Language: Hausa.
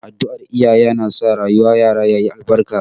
Addu'ar iyaye yana sa rayuwar yara ya yi albarka.